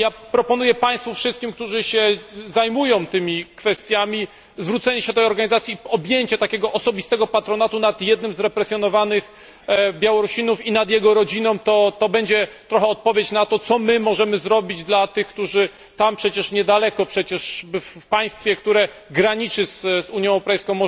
Proponuję Państwu wszystkim, którzy się zajmują tymi kwestiami, zwrócenie się do tej organizacji, objęcie takiego osobistego patronatu nad jednym z represjonowanych Białorusinów i nad jego rodziną to będzie trochę odpowiedź na to, co możemy zrobić dla tych, którzy są przecież niedaleko, w państwie, które graniczy z Unią Europejską.